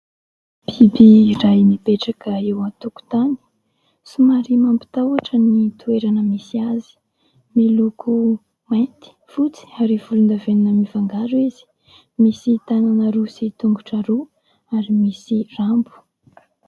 Biby iray mipetraka eo antokontany, somary mampitahotra ny toerana misy azy; miloko mainty, fotsy ary volondavenona mifangaro izy, misy tanana roa sy tongotra roa ary misy rambo.